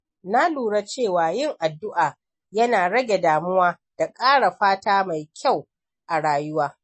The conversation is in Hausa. Na lura cewa yin addu’a yana rage damuwa da ƙara fata mai kyau a rayuwa.